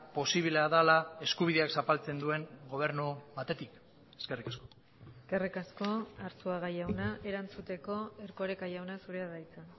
posiblea dela eskubideak zapaltzen duen gobernu batetik eskerrik asko eskerrik asko arzuaga jauna erantzuteko erkoreka jauna zurea da hitza